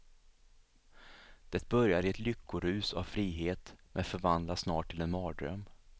Det börjar i ett lyckorus av frihet, men förvandlas snart till en mardröm.